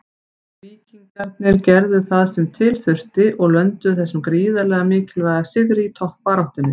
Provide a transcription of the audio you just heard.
Víkingarnir gerðu það sem til þurfti og lönduðu þessum gríðarlega mikilvæga sigri í toppbaráttunni.